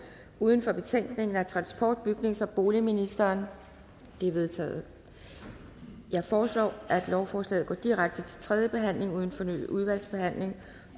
uden for betænkningen af transport bygnings og boligministeren det er vedtaget jeg foreslår at lovforslaget går direkte til tredje behandling uden fornyet udvalgsbehandling